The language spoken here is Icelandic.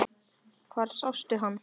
Hvar sástu hann?